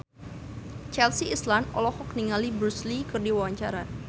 Chelsea Islan olohok ningali Bruce Lee keur diwawancara